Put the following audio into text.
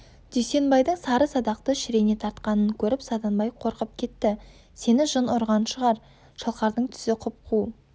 дүйсенбайдың сары садақты шірене тартқанын көріп саданбай қорқып кетті сені жын ұрған шығар шалқардың түсі құп-қу